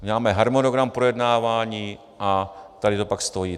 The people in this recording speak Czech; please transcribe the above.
Máme harmonogram projednávání a tady to pak stojí.